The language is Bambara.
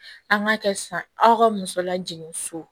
An k'a kɛ sisan aw ka muso lajigin so